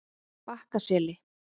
Bakkaseli